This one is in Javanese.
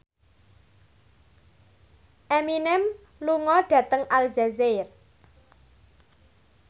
Eminem lunga dhateng Aljazair